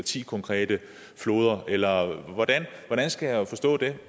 ti konkrete floder eller hvordan skal jeg forstå det